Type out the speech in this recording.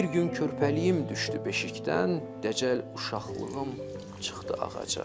Bir gün körpəliyim düşdü beşikdən, dəcəl uşaqlığım çıxdı ağaca.